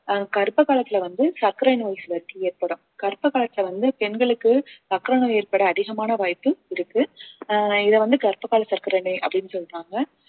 ஆஹ் கர்ப்ப காலத்துல வந்து சர்க்கரை நோய் ஏற்படும் கர்ப்ப காலத்துல வந்து பெண்களுக்கு சர்க்கரை நோய் ஏற்பட அதிகமான வாய்ப்பு இருக்கு ஆஹ் இதை வந்து கர்ப்ப கால சர்க்கரை நோய் அப்படின்னு சொல்றாங்க